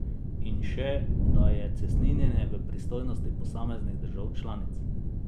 In še, da je cestninjenje v pristojnosti posameznih držav članic.